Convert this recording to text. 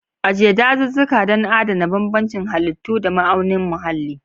Ajiye dazuzzuka don adana bambancin halittu da ma'aunin muhalli.